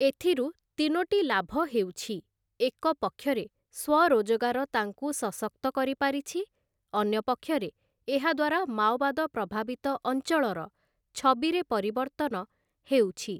ଏଥିରୁ ତିନୋଟି ଲାଭ ହେଉଛି, ଏକପକ୍ଷରେ ସ୍ୱରୋଜଗାର ତାଙ୍କୁ ସଶକ୍ତ କରିପାରିଛି, ଅନ୍ୟପକ୍ଷରେ ଏହାଦ୍ୱାରା ମାଓବାଦ ପ୍ରଭାବିତ ଅଂଚଳର ଛବିରେ ପରିବର୍ତ୍ତନ ହେଉଛି ।